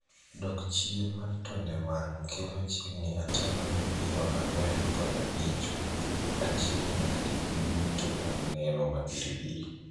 Dok chien mar tonde wang' kelo chiegni ataa malo piero ang'wen kod abich mag achiendnade duto mag neno mabiribiri.